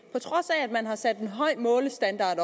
på trods af at man har sat en høj målestandard